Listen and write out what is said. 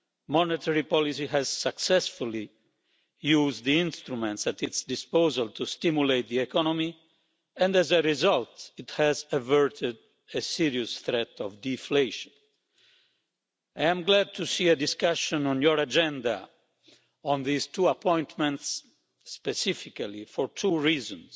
Monetary policy has successfully used the instruments at its disposal to stimulate the economy, and as a result, it has averted a serious threat of deflation. I'm glad to see a discussion on your agenda on these two appointments, specifically for two reasons.